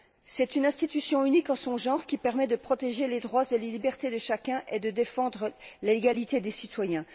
C'est une institution unique en son genre qui permet de protéger les droits et les libertés de chacun et de défendre l'égalité des citoyens.